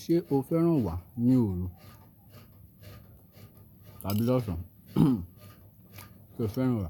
Ṣé o fẹ́ràn wà ní òru? Tàbí lọ́ṣan, ṣe o fẹ́ràn wà?